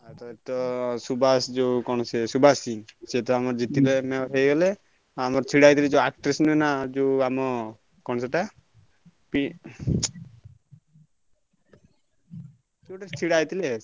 ଆଉ ତ ସୁବାଷ ଯୋଉ କଣ ସେ ସୁବାଷ ସିଂ ସିଏ ତ ଆମର ଜିତିଲେ Mayor ହେଇଗଲେ, ଆମର ଛିଡାହେଇଥିଲେ ଯୋଉ actress ନୁହେଁ ନା ଯୋଉ ଆମ କଣ ସେଇଟା ~ପି କିଏ ଗୋଟେ ଛିଡା ହେଇଥିଲେ।